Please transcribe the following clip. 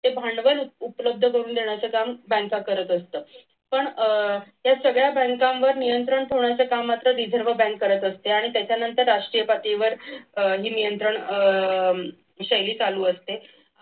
ते भांडवल उपलब्ध करून देण्याचं काम बँका करत असत. पण अह या सगळ्या बँकांवर नियंत्रण ठेवण्याचं काम reserve bank करत असते त्याच्यानंतर राष्ट्रीय पातळीवर हे नियंत्रण शैली चालू असते.